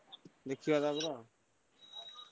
ଦେଖିବା ତା ପରେ ଆଉ।